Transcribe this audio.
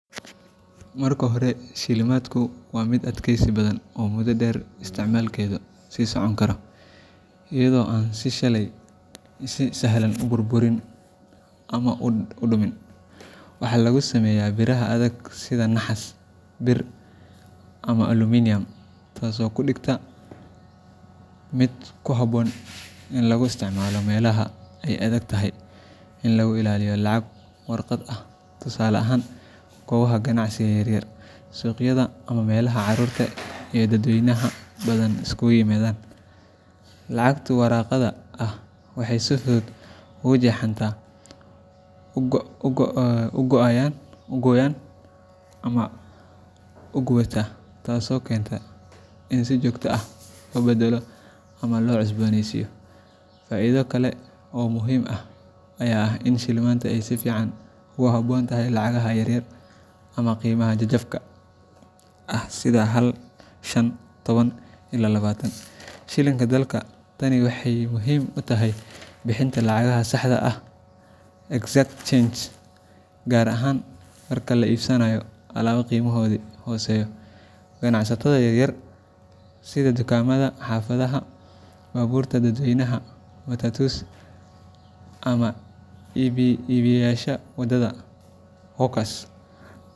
Marka hore, shilimaantu waa mid adkeysi badan oo muddo dheer isticmaalkeedu sii socon karo, iyadoo aan si sahlan u burburin ama u dumin. Waxa lagu sameeyaa biraha adag sida naxaas, bir, ama aluminium taasoo ka dhigta mid ku habboon in lagu isticmaalo meelaha ay adag tahay in la ilaaliyo lacag warqad ah tusaale ahaan goobaha ganacsiga yaryar, suuqyada, ama meelaha carruurta iyo dadweynaha badani isugu yimaadaan. Lacagta warqadda ah waxay si fudud u jeexantaa, u qoyaan ama u gubataa, taasoo keenta in si joogto ah loo beddelo ama loo cusbooneysiiyo. Faa’iido kale oo muhiim ah ayaa ah in shilimaanta ay si fiican ugu habboon tahay lacagaha yaryar ama qiimaha jajabka ah sida hal, shan, toban ila labatan shilinka dalka. Tani waxay muhiim u tahay bixinta lacagaha saxda ah exact change, gaar ahaan marka la iibsanaayo alaabo qiimahoodu hooseeyo. Ganacsatada yaryar sida dukaamada xaafadaha, baabuurta dadweynaha matatus, ama iibiyeyaasha wadada hawkers.